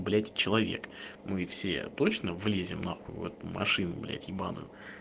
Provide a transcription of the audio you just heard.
блять человек мы все точно влезем нахуй в эту машину блять ебаную